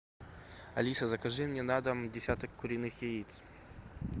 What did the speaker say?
алиса закажи мне на дом десяток куриных яиц